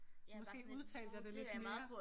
Måske udtalte jeg det lidt mere